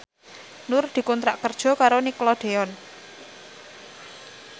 Nur dikontrak kerja karo Nickelodeon